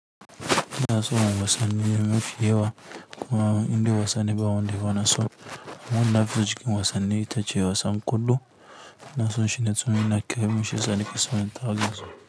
Ina son wasanni mafi yawa kuma inda wasa ne ba wanda ba na son. Amma wanda na fi so cikin wasanni ita ce wasan ƙwallo ina so shine tsamayi na kai mun sha sani kaso ɗin tara.